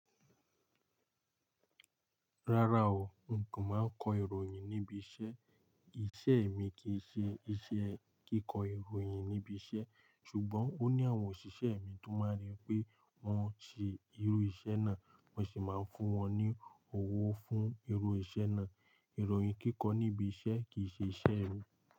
Rárá o, n kò máa ń kọ ìròyìn níbi iṣẹ́. Iṣẹ́ mi kì í ṣe iṣẹ́ kíkọ ìròyìn níbi iṣẹ́ ṣùgbọ́n ó ní àwọn òṣìṣẹ́ mi tó máa ń rí pé wọ́n ṣe irú iṣẹ́ náà, wọ́n sì máa ń fún wọn ní owó fún irú iṣẹ́ náà. Ìròyìn kíkọ níbi iṣẹ́ kì í ṣe iṣẹ́ mi.